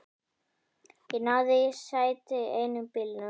Ég náði í sæti í einum bílnum.